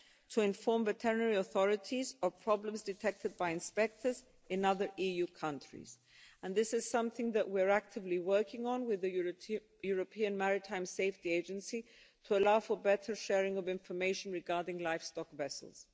to inform veterinarian authorities of problems detected by inspectors in other EU countries, and this is something that we are actively working on with the European Maritime Safety Agency to allow for better sharing of information regarding livestock vessels.